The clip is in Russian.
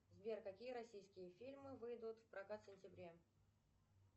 сбер какие российские фильмы выйдут в прокат в сентябре